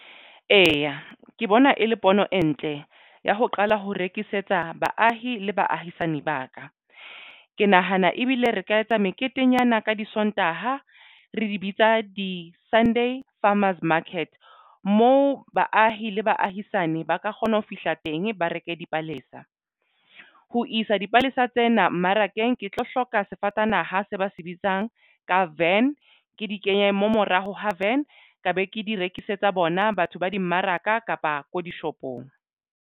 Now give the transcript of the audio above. Eya, ke bona e le pono e ntle ya ho qala ho rekisetsa baahi le baahisane ba ka. Ke nahana ebile re ka etsa meketenyana ka di sontaha re di bitsa di-Sunday Farmers Market mo baahi le baahisane ba ka kgona ho fihla teng ba reke dipalesa ho isa dipalesa tsena mmarakeng. Ke tlo hloka sefatanaha se ba se bitsang ka van ke di kenye mmamoraho haven ka be ke di rekisetsa bona batho ba dimmaraka kapa ko dishopong.